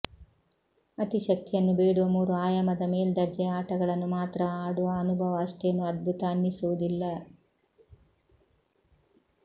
ಅತಿ ಶಕ್ತಿಯನ್ನು ಬೇಡುವ ಮೂರು ಆಯಾಮದ ಮೇಲ್ದರ್ಜೆಯ ಆಟಗಳನ್ನು ಮಾತ್ರ ಆಡುವ ಅನುಭವ ಅಷ್ಟೇನು ಅದ್ಭುತ ಅನ್ನಿಸುವುದಿಲ್ಲ